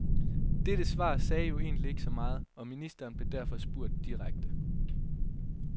Dette svar sagde jo egentlig ikke så meget, og ministeren blev derfor spurgt direkte.